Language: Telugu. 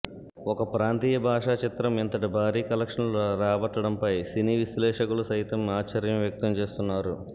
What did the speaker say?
ఒక ప్రాంతీయ భాష చిత్రం ఇంతటి భారీ కలెక్షన్లు రాబట్టడంపై సినీ విశ్లేషకులు సైతం ఆశ్చర్యం వ్యక్తం చేస్తున్నారు